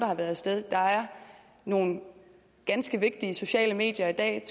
har været af sted der er nogle ganske vigtige sociale medier i dag